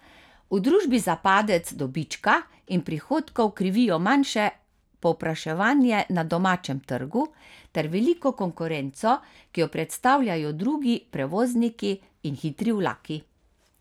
V družbi za padec dobička in prihodkov krivijo manjše povpraševanje na domačem trgu ter veliko konkurenco, ki jo predstavljajo drugi prevozniki in hitri vlaki.